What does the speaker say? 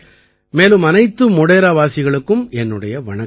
மேலும் அனைத்து மோடேராவாசிகளுக்கும் என்னுடைய வணக்கங்கள்